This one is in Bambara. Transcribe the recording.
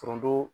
Foronto